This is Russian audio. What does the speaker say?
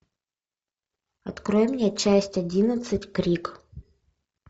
открой мне часть одиннадцать крик